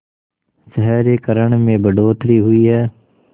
शहरीकरण में बढ़ोतरी हुई है